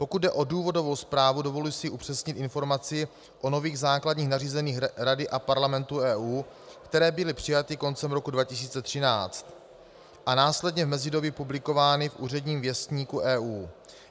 Pokud jde o důvodovou zprávu, dovoluji si upřesnit informaci o nových základních nařízeních Rady a Parlamentu EU, které byly přijaty koncem roku 2013 a následně v mezidobí publikovány v Úředním věstníku EU.